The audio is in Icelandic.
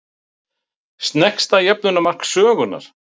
Sneggsta jöfnunarmark sögunnar?